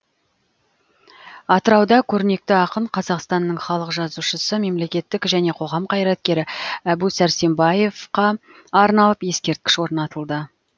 атырауда көрнекті ақын қазақстанның халық жазушысы мемлекеттік және қоғам қайраткері әбу сәрсенбаевқа арналып ескерткіш орнатылды